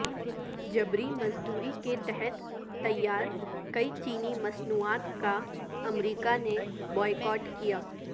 جبری مزدوری کے تحت تیار کئی چینی مصنوعات کا امریکہ نے بائیکاٹ کیا